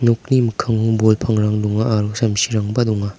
nokni mikkango bol pangrang donga aro samsirangba donga.